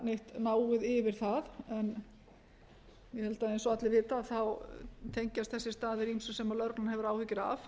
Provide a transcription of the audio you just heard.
neitt náið yfir það en ég held að eins og allir vita þá tengjast þessir staðir ýmsu sem lögreglan hefur áhyggjur af